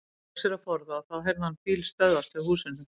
Hann fékk sér að borða og þá heyrði hann bíl stöðvast hjá húsinu.